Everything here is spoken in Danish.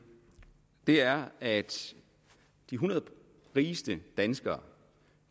er at de hundrede rigeste danskere